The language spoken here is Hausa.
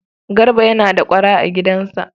Garba yana da ƙwara a gidansa.